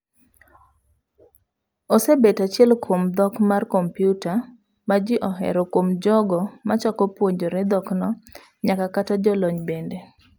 Osebet achiel kuom dhok mar kompiuta maji ohero kuom jogo machako puonjre dhokno nyaka kata jolony bende.